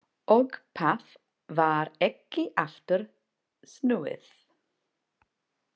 Og það var ekki aftur snúið.